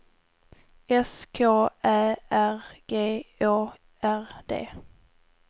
S K Ä R G Å R D